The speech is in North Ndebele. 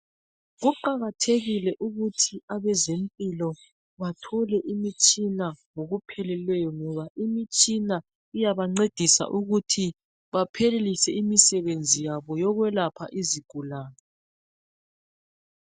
Kuqakathekile ukuthi abezempilo bathole imitshina ngokupheleleyo, ngoba imitshina iyaba ncedisa ukuthi baphelelise imsebenzi yabo yokwelapha izigulane.